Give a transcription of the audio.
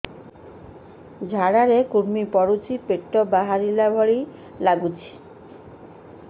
ଝାଡା ରେ କୁର୍ମି ପଡୁଛି ପେଟ ବାହାରିଲା ଭଳିଆ ଲାଗୁଚି